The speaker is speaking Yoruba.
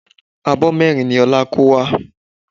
Abọ́ mẹ́rin ni Ọlá kó wá